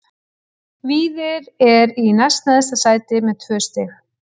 Víðir er í næst neðsta sæti með tvö stig.